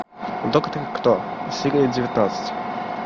доктор кто серия девятнадцать